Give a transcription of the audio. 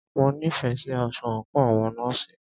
Mo nífẹẹ sí aṣọ àńkò àwọn nọ́ọ̀sì.